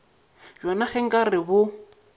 bjona ge nka re bo